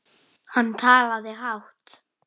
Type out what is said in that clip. Hann talaði hátt.